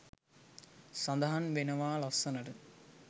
සඳහන් වෙනවා ලස්සනට.